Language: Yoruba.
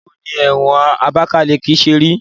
Báwo ni ẹ̀wọ̀n Abakaliki ṣe rí?